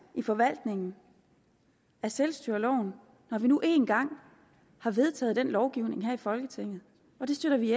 i forvaltningen af selvstyreloven når vi nu engang har vedtaget den lovgivning her i folketinget og det støtter vi